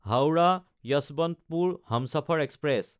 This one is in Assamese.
হাওৰা–যশৱন্তপুৰ হমচফৰ এক্সপ্ৰেছ